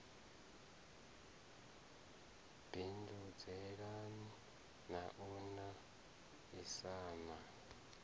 bindudzelana na u a isana